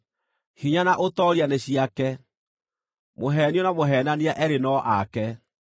Hinya na ũtooria nĩ ciake; mũheenio na mũheenania eerĩ no ake.